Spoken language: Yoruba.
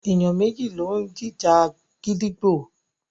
Èèyàn méjì ni ó máa ń jìjà gídígbò.